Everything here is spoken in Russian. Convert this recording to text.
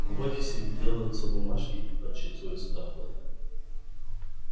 в офисе делаются бумажки и подсчитываются доходы